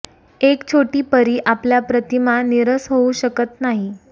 एक छोटी परी आपल्या प्रतिमा नीरस होऊ शकत नाही